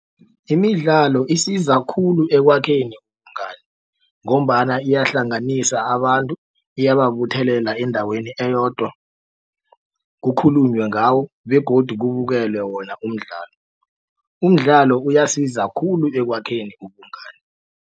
Imidlalo isiza khulu ekwakheni ubungani ngombana iyahlanganisa abantu iyababuthelela endaweni eyodwa kukhulunywe ngawo begodu kubukela wona umdlalo. Umdlalo uyasiza khulu ekwakheni ubungani.